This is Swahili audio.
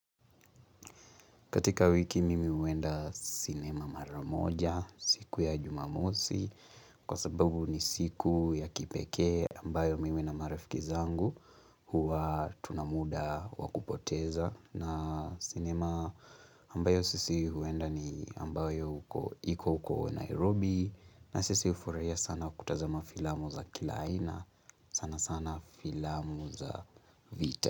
Katika wiki mimi huenda sinema maramoja siku ya jumamosi kwa sababu ni siku ya kipekee ambayo mimi na marafiki zangu huwa tunamuda wa kupoteza na sinema ambayo sisi huenda ni ambayo huko iko huko Nairobi na sisi ufuraia sana kutazama filamu za kila aina sana sana filamu za vita.